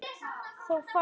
Þá fæst